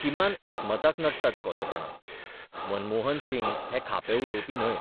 किमान एकमताक नडटात कोतेपणां मनमोहन सिंग हे खापे उलोवपी न्हय.